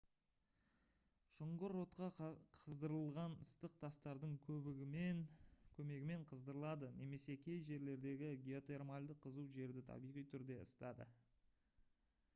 шұңғыр отқа қыздырылған ыстық тастардың көмегімен қыздырылады немесе кей жерлердегі геотермальді қызу жерді табиғи түрде ысытады